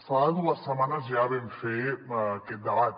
fa dues setmanes ja vam fer aquest debat